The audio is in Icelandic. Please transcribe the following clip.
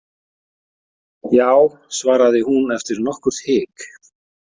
Já, svaraði hún eftir nokkurt hik.